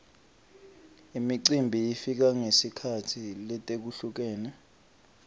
imicimbi ifika ngetikhatsi letehlukene